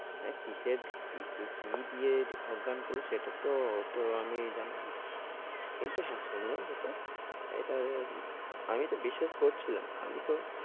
হ্যাঁ কিসে থেকে কিসে, কি দিয়ে অজ্ঞান করলো সেটা তো ওতো আমি জানি না কিন্তু হ্যাঁ, শুনলাম যত এটা, আমি তো বিশ্বাস করছিলাম না, আমি তো,